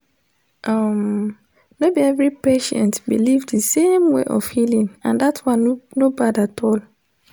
um no be every patient believe the same way for healing and that one no bad at all